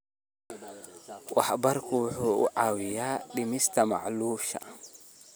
Waraabku waxa uu caawiyaa dhimista macluusha.